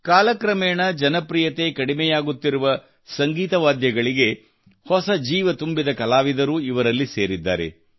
ಕಾಲ ಕ್ರಮೇಣ ಜನಪ್ರಿಯತೆ ಕಡಿಮೆಯಾಗುತ್ತಿರುವ ಸಂಗೀತ ವಾದ್ಯಗಳಿಗೆ ಹೊಸ ಜೀವ ತುಂಬಿದ ಕಲಾವಿದರೂ ಇವರಲ್ಲಿ ಸೇರಿದ್ದಾರೆ